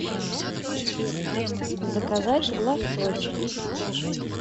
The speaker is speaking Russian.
заказать лосось